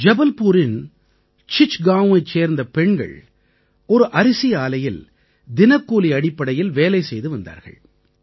ஜபல்பூரின் சிச்காவைச் சேர்ந்த பெண்கள் ஒரு அரிசி ஆலையில் தினக்கூலி அடிப்படையில் வேலை செய்து வந்தார்கள்